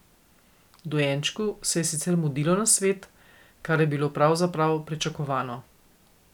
Dojenčku se je sicer mudilo na svet, kar je bilo pravzaprav pričakovano.